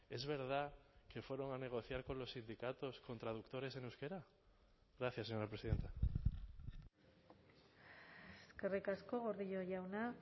es verdad que fueron a negociar con los sindicatos con traductores en euskera gracias señora presidenta eskerrik asko gordillo jauna